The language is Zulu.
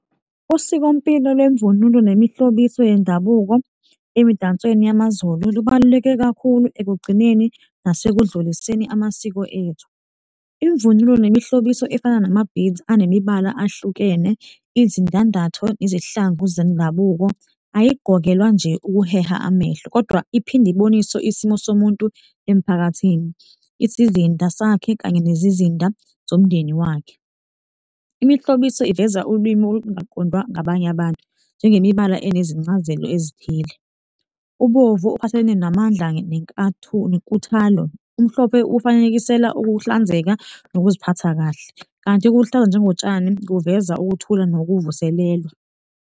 Usikompilo lwemvunulo nemihlobiso yendabuko emidansweni yamaZulu lubaluleke kakhulu ekugcineni nasekudluliseni amasiko ethu. Imvunulo nemihlobiso ifana nama-beads anemibala ahlukene izindandatho izihlangu zendabuko ayigqokelwa nje ukuheha amehlo kodwa iphinde ibonise isimo somuntu emphakathini, isizinda sakhe kanye nezizinda zomndeni wakhe. Imihlobiso iveza ulwimi olungaqodwa ngabanye abantu njengemibala enezincazelo ezithile. Ubovu uphathelene namandla nenkuthalo, umhlophe ufanekisela ukuhlanzeka nokuziphatha kahle kanti ikuhlaza njengotshani kuveza ukuthula nokuvuselela.